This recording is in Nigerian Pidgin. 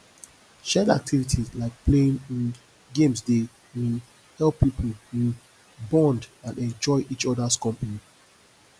shared activities like playing um games dey um help people um bond and enjoy each others company